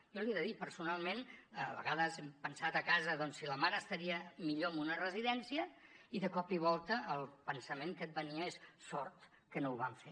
jo l’hi he de dir personalment a vegades hem pensat a casa doncs si la mare estaria millor en una residència i de cop i volta el pensament que et venia és sort que no ho vam fer